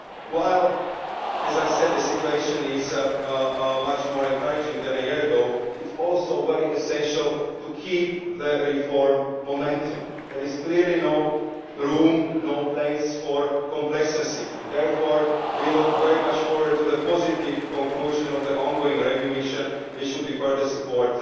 While, as I said, the situation is much more encouraging than a year ago, it is also very essential to keep the reform momentum. There is clearly no room for complacency, and therefore we very much look forward to the positive conclusion of the ongoing review mission, which would further support